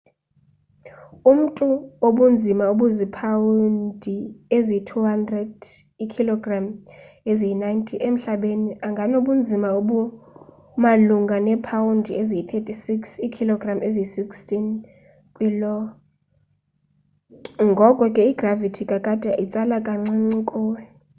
umntu obunzima obuzipawundi eziyi-200 iikhologram eziyi-90 emhlabeni anganobunzima obumalunga neepawundi eziyi-36 iikhilogram eziyi-16 kwi lo. ngoko ke igravithi kakade, itsala kancinci kuwe